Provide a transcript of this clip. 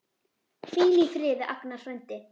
Hvíl í friði, Agnar frændi.